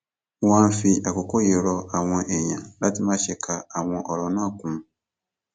mo wá ń fi àkókò yìí rọ àwọn èèyàn láti má ṣe ka àwọn ọrọ náà kún